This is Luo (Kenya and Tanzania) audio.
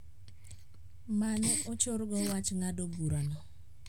Ma ne ochorgo wach ng`ado bura no